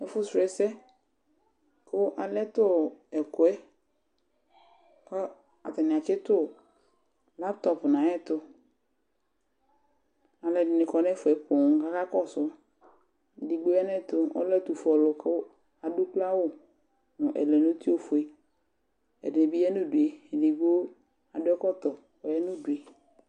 Ɛfu srɔ ɛsɛ, kalɛ tɛkuɛ ku atani atsɩtu layptɔp nayɛtʊ Alʊɛdini kɔ nɛfuɛ ƒoo kakasʊ Edigbo ya nayɛtu, ɔlɛ etufue ɔlʊ, adu ukloawʊ nu ɛlɛnuti ofue, ɛdibi ya nudue adu ɛkɔtɔ